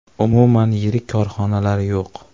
Umuman yirik korxonalar yo‘q.